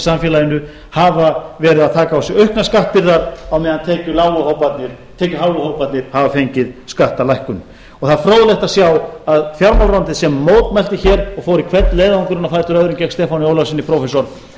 samfélaginu hafa verið að taka á sig auknar skattbyrðar á meðan tekjuháu hóparnir hafa fengið skattalækkun það er fróðlegt að sjá að fjármálaráðuneytið sem mótmælti hér og fór í hvern leiðangurinn á fætur öðrum gegn stefáni ólafssyni prófessor